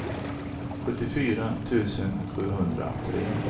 sjuttiofyra tusen sjuhundratre